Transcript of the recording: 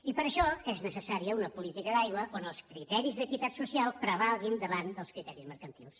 i per això és necessària una política d’aigua on els criteris d’equitat social prevalguin davant dels criteris mercantils